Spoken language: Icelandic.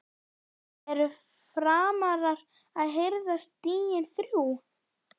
ERU FRAMARAR AÐ HIRÐA STIGIN ÞRJÚ??